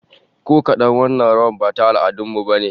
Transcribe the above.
Ko kadan, wannan rawar ba ta al'adun mu bane